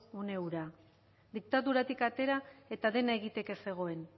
une hura diktaduratik atera eta dena egiteke zegoen